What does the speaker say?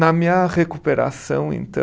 Na minha recuperação, entã